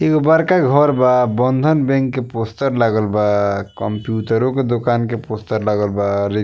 एगो बड़का घर बा बंधन बैंक के पोस्टर लागल बा कम्पूटरो के दुकान के पोस्टर लागल बा।